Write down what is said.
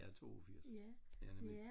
jeg er 82 ja nemlig